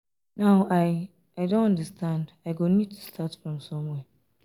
now i i don understand i go need to start from somewhere.